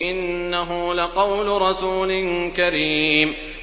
إِنَّهُ لَقَوْلُ رَسُولٍ كَرِيمٍ